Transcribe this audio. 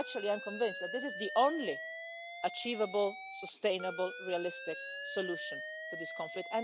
Actually, I'm convinced that this is the only achievable, sustainable, realistic solution to this conflict.